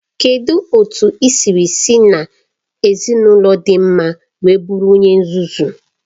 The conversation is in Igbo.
Kedụ otu i siri si n'ezinaụlọ dị mma wee bụrụ onye nzuzu?